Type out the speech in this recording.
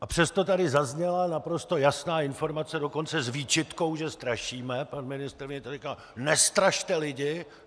A přesto tady zazněla naprosto jasná informace, dokonce s výčitkou, že strašíme, pan ministr mi tady říkal: Nestrašte lidi.